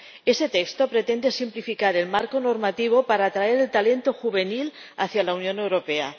Este texto pretende simplificar el marco normativo para atraer el talento juvenil hacia la Unión Europea.